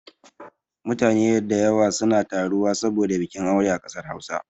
Mutane da yawa suna taruwa saboda bikin aure a kasar Hausa